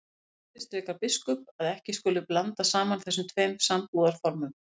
Hins vegar undirstrikar biskup að ekki skuli blanda saman þessum tveim sambúðarformum.